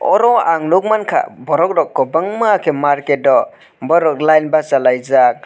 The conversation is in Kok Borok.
aro ang nogmang kha borok rok kobang ma khe marketo borok line basalaijak.